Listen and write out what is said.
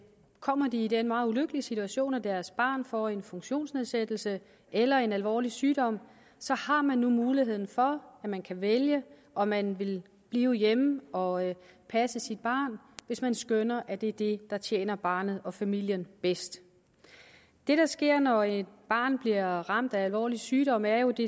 kommer de i den meget ulykkelige situation at deres barn får en funktionsnedsættelse eller en alvorlig sygdom har man nu muligheden for at man kan vælge om man vil blive hjemme og passe sit barn hvis man skønner at det er det der tjener barnet og familien bedst det der sker når et barn bliver ramt af alvorlig sygdom er jo at det